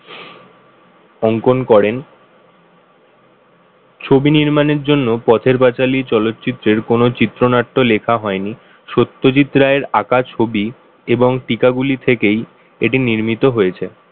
অংকন করেন ছবি নির্মাণের জন্য পথের পাঁচালী চলচ্চিত্রের কোন চিত্রনাট্য লেখা হয়নি। সত্যজিৎ রায়ের আঁকা ছবি এবং পিথা গুলি থেকেই এটি নির্মিত হয়েছে।